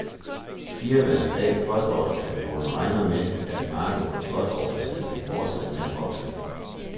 Firmaerne bag postordrekatalogerne regner med, at markedet for postordresalg vil fortsætte med at vokse.